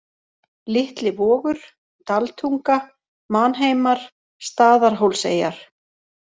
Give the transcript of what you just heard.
Litli Vogur, Daltunga, Manheimar, Staðarhólseyjar